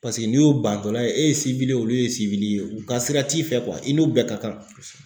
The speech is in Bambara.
Paseke n'i y'o bantɔla ye e ye olu ye u ka sira t'i fɛ i n'u bɛɛ ka kan.